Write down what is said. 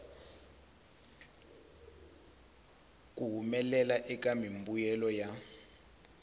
ku humelela eka mimbuyelo ya